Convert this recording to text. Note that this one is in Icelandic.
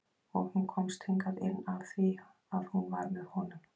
Og hún komst hingað inn af því að hún var með honum.